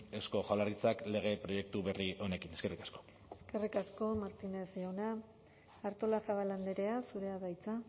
eusko jaurlaritzak lege proiektu berri honekin eskerrik asko eskerrik asko martínez jauna artolazabal andrea zurea da hitza